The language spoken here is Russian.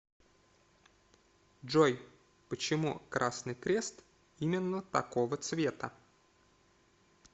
джой почему красный крест именно такого цвета